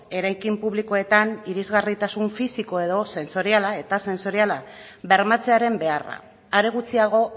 eraikin publikoetan irisgarritasun fisiko edo sentsoriala eta sentsoriala bermatzearen beharra are gutxiago